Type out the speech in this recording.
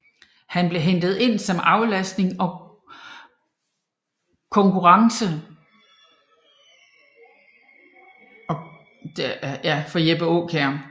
Han blev hentet ind som aflastning og konkurrence for Jeppe Kjær